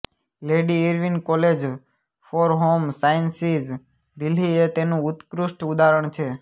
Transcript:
lady Irwin College for Home Sciences Delhi એ તેનું ઉત્કૃષ્ઠ ઉદાહરણ છે